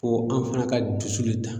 Fo an fana ka dusu le ta.